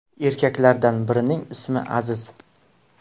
Erkaklardan birining ismi Aziz.